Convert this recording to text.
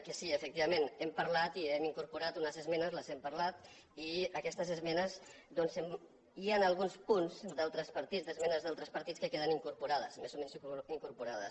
que sí efectivament hem parlat i hem incorporat unes esmenes les hem parlat i en aquestes esmenes doncs hi han alguns punts d’al·tres partits d’esmenes d’altres partits que queden in·corporats més o menys incorporats